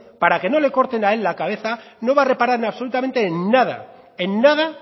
para que no le corten a él la cabeza no va a reparar absolutamente en nada en nada